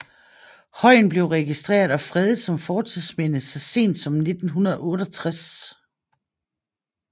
Højen blev registreret og fredet som fortidsminde så sent som 1968